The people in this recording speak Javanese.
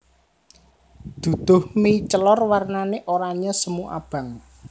Duduh mie celor warnane oranye semu abang